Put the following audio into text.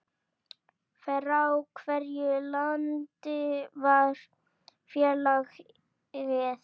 Frá hvaða landi var félagið?